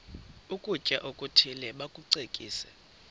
ukutya okuthile bakucekise